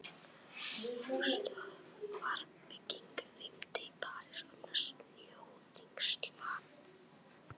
Flugstöðvarbygging rýmd í París vegna snjóþyngsla